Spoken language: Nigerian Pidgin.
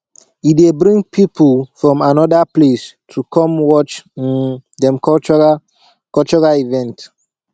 e dey bring people from anoda place to come watch um dem cultural cultural event